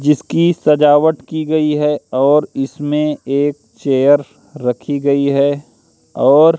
जिसकी सजावट की गई है और इसमें एक चेयर रखी गई है और--